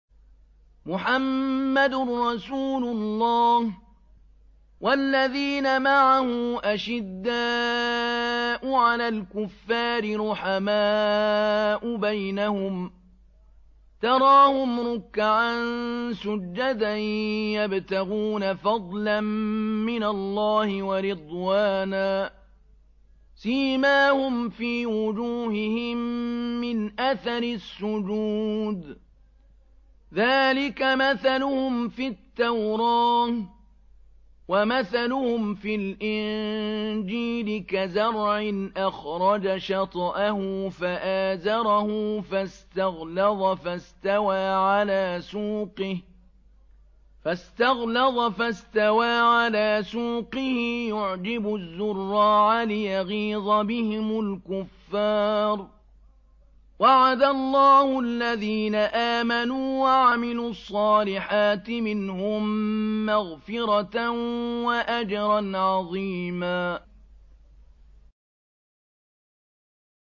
مُّحَمَّدٌ رَّسُولُ اللَّهِ ۚ وَالَّذِينَ مَعَهُ أَشِدَّاءُ عَلَى الْكُفَّارِ رُحَمَاءُ بَيْنَهُمْ ۖ تَرَاهُمْ رُكَّعًا سُجَّدًا يَبْتَغُونَ فَضْلًا مِّنَ اللَّهِ وَرِضْوَانًا ۖ سِيمَاهُمْ فِي وُجُوهِهِم مِّنْ أَثَرِ السُّجُودِ ۚ ذَٰلِكَ مَثَلُهُمْ فِي التَّوْرَاةِ ۚ وَمَثَلُهُمْ فِي الْإِنجِيلِ كَزَرْعٍ أَخْرَجَ شَطْأَهُ فَآزَرَهُ فَاسْتَغْلَظَ فَاسْتَوَىٰ عَلَىٰ سُوقِهِ يُعْجِبُ الزُّرَّاعَ لِيَغِيظَ بِهِمُ الْكُفَّارَ ۗ وَعَدَ اللَّهُ الَّذِينَ آمَنُوا وَعَمِلُوا الصَّالِحَاتِ مِنْهُم مَّغْفِرَةً وَأَجْرًا عَظِيمًا